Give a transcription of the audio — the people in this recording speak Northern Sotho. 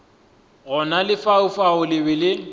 gona lefaufau le be le